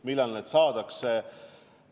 Millal need saadakse?